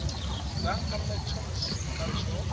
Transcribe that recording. sankambe tsho no siwka tsho